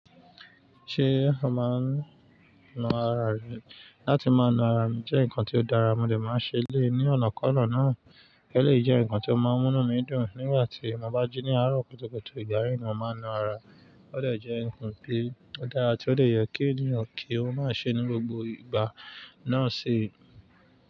Ṣé a máa ń na ara rẹ? Látí máa na ara mi jẹ́ ǹkan tí ó dára, mo dè máa n ṣe eléeyii ní ọ̀nà kan na náà, eleèyi jẹ́ ǹkan tí ó máa ń mú inu mí dùn. Nígbà tí mo bá jí ní àárọ̀ kùtùkùtù, ìgbà yii ni mo màá n na ara. Ó dè jẹ́ ǹkan ti ó dára tí ó dè yẹ kí ènìyàn kí ó má ṣe ní gbogbo ìgbà náà sì.